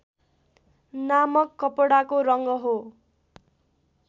नामक कपडाको रङ्ग हो